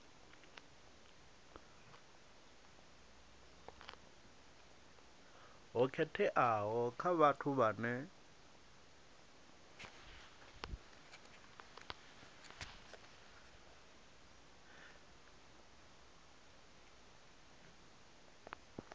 ho khetheaho kha vhathu vhane